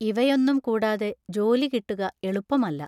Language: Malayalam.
ഇവയൊന്നും കൂടാതെ ജോലി കിട്ടുക എളുപ്പമല്ല.